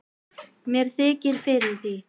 Mér þykir fyrir því.